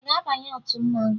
Ị ga-abanye otu mmanwụ?